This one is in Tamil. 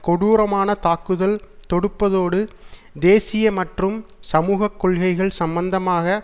கொடூரமான தாக்குதல் தொடுப்பதோடு தேசிய மற்றும் சமூக கொள்கைகள் சம்பந்தமாக